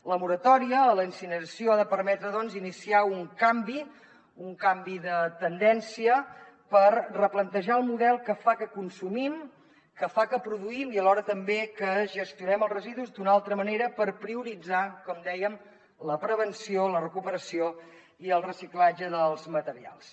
la moratòria a la incineració ha de permetre doncs iniciar un canvi un canvi de tendència per replantejar el model que fa que consumim que fa que produïm i alhora també que gestionem els residus d’una altra manera per prioritzar com dèiem la prevenció la recuperació i el reciclatge dels materials